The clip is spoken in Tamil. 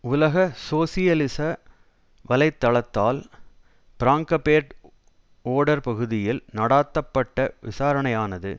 உலக சோசியலிச வலை தளத்தால் பிராங்கபேர்ட் ஓடர் பகுதியில் நடாத்தப்பட்ட விசாரணையானது